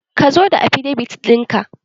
Ka zo da afidevit in ka!